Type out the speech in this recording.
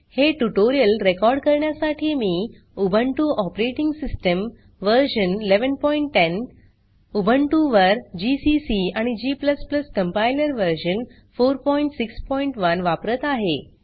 हे tutorial record करण्यासाठी मी Ubuntu operating system version 1110 Ubuntu वर जीसीसी आणि g कंपाइलर व्हर्शन 461 वापरत आहे